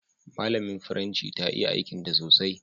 Malamin firanci ta iya aikin ta sosai.